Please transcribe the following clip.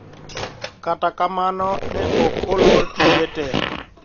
Kata kamano ne ok olor tije te